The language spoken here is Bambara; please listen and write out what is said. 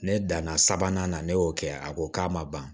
Ne danna sabanan na ne y'o kɛ a ko k'a ma ban